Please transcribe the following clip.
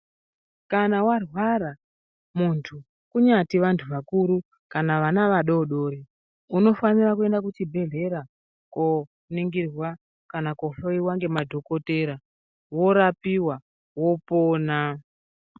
Kana warwa muntu kunyati vantu vakuru kana vana vadoko unofanira kuenda kuchibhehleya kuwoningirwa kana kunohloyiwa nemadhokodheya worapiwa wopona.